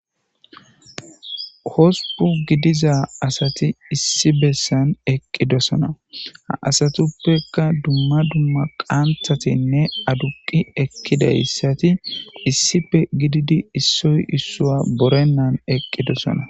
Hospun gidiza asati issi besan eqidosona ha asatuppeka duma duma qanthatinne adusati issippe gididi isoyi isuwa borenan eqidosona